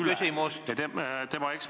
Palun küsimus!